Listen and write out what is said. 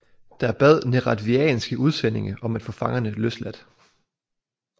Der bad neretvianske udsendinge om at få fangerne løsladt